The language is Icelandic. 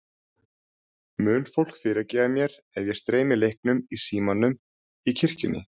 Mun fólk fyrirgefa mér ef ég streymi leiknum í símanum í kirkjunni?